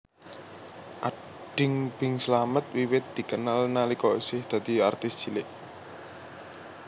Ading Bing Slamet wiwit dikenal nalika isih dadi artis cilik